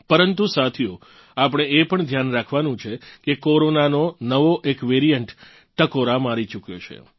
પરંતુ સાથીઓ આપણે એ પણ ધ્યાન રાખવાનું છે કે કોરોનાંનો એક નવો વેરીયન્ટ ટકોરા મારી ચૂક્યો છે